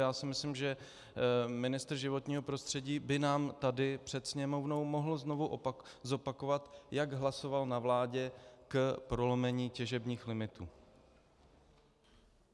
Já si myslím, že ministr životního prostředí by nám tady před Sněmovnou mohl znovu zopakovat, jak hlasoval na vládě k prolomení těžebních limitů.